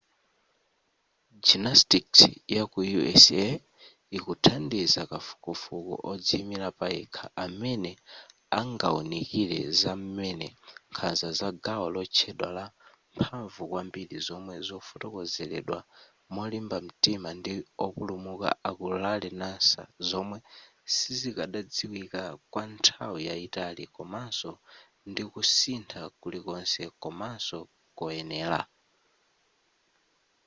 gymnastics yaku usa ikuthandiza kafukufuku odziyimira payekha amene angawunikire za m'mene nkhanza za gawo lotchedwa la mphamvu kwambiri zomwe zafotokozeredwa molimba mtima ndi opulumuka aku larry nassar zomwe sizikadadziwika kwanthawi yayitali komaso ndikusintha kulikonse komanso koyenera